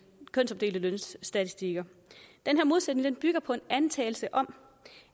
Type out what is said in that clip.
lønstatistikker den her modsætning bygger på en antagelse om